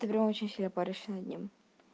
ты прям очень сильно парящий над ним